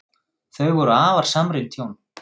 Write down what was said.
Þau voru afar samrýnd hjón.